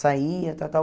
Saí e tal, tal.